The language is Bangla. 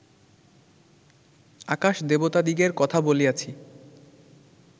আকাশ-দেবতাদিগের কথা বলিয়াছি